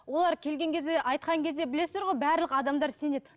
олар келген кезде айтқан кезде білесіздер ғой барлық адамдар сенеді